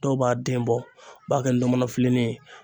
Dɔw b'a den bɔ u b'a kɛ ndɔmɔnɔ filenin ye.